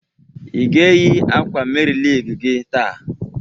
I ga eyi akwa Meri Lig gị taa?